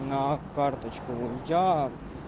на карточку но я